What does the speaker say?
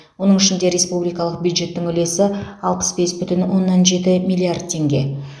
оның ішінде республикалық бюджеттің үлесі алпыс бес бүтін оннан жеті миллиард теңге